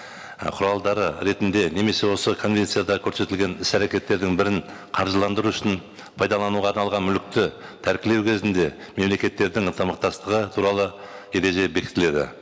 ы құралдары ретінде немесе осы конвенцияда көрсетілген іс әрекеттердің бірін қаржыландыру үшін пайдалануға арналған мүлікті тәркілеу кезінде мемлекеттердің ынтымақтастығы туралы ереже бекітіледі